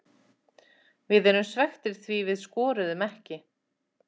Við erum svekktir því við skoruðum ekki.